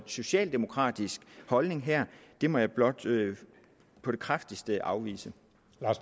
socialdemokratisk holdning her må jeg blot på det kraftigste afvise